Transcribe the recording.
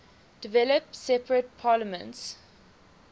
developed separate parliaments